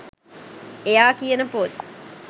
එයා කියන පොත්